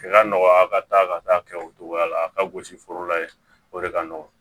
I ka nɔgɔya ka taa ka taa kɛ o togoya la a ka gosi foro la ye o de ka nɔgɔn